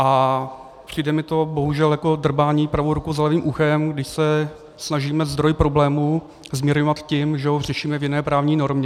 A přijde mi to bohužel jako drbání pravou rukou za levým uchem, když se snažíme zdroj problémů zmírňovat tím, že ho řešíme v jiné právní normě.